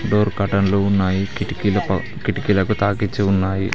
Door కర్టెన్లు ఉన్నాయి కిటికీలకు కిటికీలకు తాకిచ్చి ఉన్నాయి.